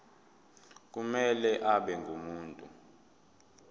kumele abe ngumuntu